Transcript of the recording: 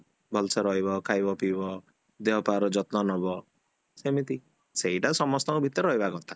ଭଲସେ ରହିବ ଖାଇବ ପିଇବ ଦେହପାର ଯତ୍ନ ନବ ସେମିତି, ସେଇଟା ସମସ୍ତଙ୍କ ଭିତରେ ରହିବା କଥା